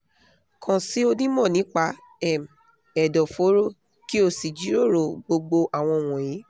kàn sí onímọ̀ nípa um ẹ̀dọ̀fóró kí o sì jíròrò gbogbo àwọn wọ̀nyí